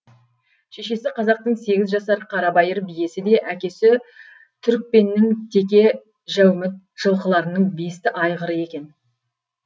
шешесі қазақтың сегіз жасар қарабайыр биесі де әкесі түрікпеннің теке жәуміт жылқыларының бесті айғыры екен